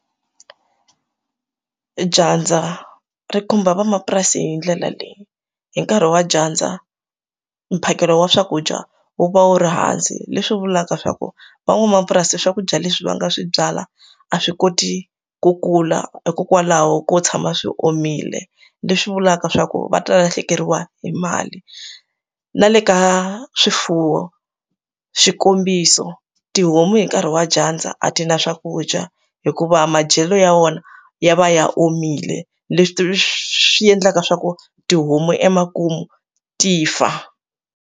Dyandza ri khumba van'wamapurasi hi ndlela leyi hi nkarhi wa dyandza mphakelo wa swakudya wu va wu ri hansi leswi vulaka swa ku van'wamapurasi swakudya leswi va nga swi byala a swi koti ku kula kha hikokwalaho ko tshama swi omile leswi vulaka swa ku va ta lahlekeriwa hi mali na le ka swifuwo xikombiso ti homu hi nkarhi wa dyandza a ti na swakudya hikuva madyelo ya wona ya va ya omile leswi swi endlaka swa ku tihomu emakumu ti fa.